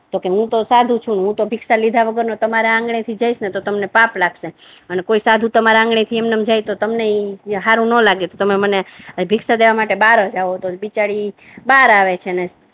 તો કહે કે હું તો સાધુ છુ અને હું તો ભિક્ષા લીધા વીના તમારા આગણે થો જઈશ ને તો તમને પાપ લાગશે અને કોઈ સાધુ તમારા આગણે થી એમ ને એમ જાઈને એ તમને હારુ ના લાગે તમે મને ભિક્ષા દેવા માટે બાહર જ આવવુ પડે બીચારી બાહર આવે છે ને